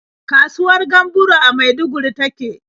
Kasuwar Gamburo a Maiduguri ta ke.